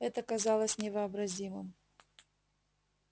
это казалось невообразимым